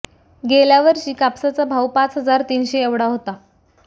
गेल्या वर्षी कापसाचा भाव पाच हजार तीनशे एवढा होता